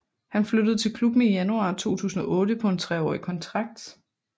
Han flyttede til klubben i januar 2008 på en treårig kontrakt